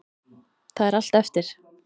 Það er allt eftir.